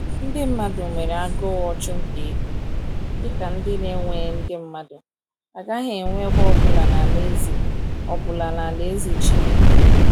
Ndị mmadụ nwere agụụ ọchụnta ego, dị ka ndị na-ewe ndị mmadụ, agaghị enwe ebe ọ bụla n’Alaeze ọ bụla n’Alaeze Chineke.